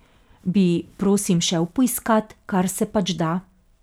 Bi, prosim, šel poiskat, kar se pač da?